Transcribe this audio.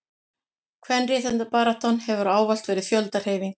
kvenréttindabaráttan hefur ávallt verið fjöldahreyfing